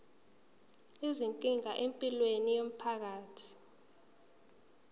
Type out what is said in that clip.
izinkinga empilweni yomphakathi